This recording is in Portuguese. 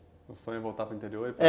O sonho é voltar para o interior?